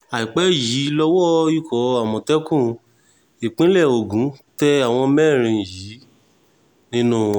àìpẹ́ yìí lowó ikọ̀ àmọ̀tẹ́kùn ìpínlẹ̀ ogun tẹ àwọn mẹ́rin yìí nínú wọn